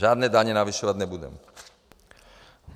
Žádné daně navyšovat nebudeme.